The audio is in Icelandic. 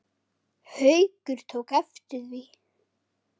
Haukur tók eftir því.